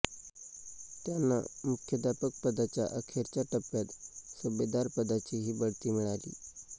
त्यांना मुख्याध्यापक पदाच्या अखेरच्या टप्प्यात सुभेदार पदाचीही बढती मिळाली